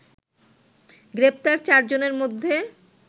গ্রেপ্তার চারজনের মধ্যে